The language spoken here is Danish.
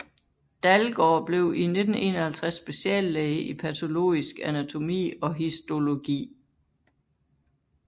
Dalgaard blev i 1951 speciallæge i patologisk anatomi og histologi